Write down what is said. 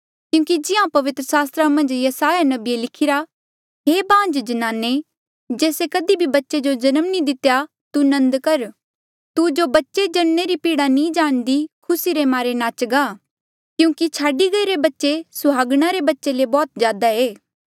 क्यूंकि जिहां पवित्र सास्त्रा मन्झ यसायाह नबिये लिखिरा हे बांझ जन्नाने जेस्से कधी भी बच्चे जो जन्म नी दितेया तू नन्द कर तू जो बच्चे जणने री पीड़ा नी जाणदी खुसी रे मारे नाचगा क्यूंकि छाडी गईरे बच्चे सुहागणा रे बच्चे ले बौह्त ज्यादा ई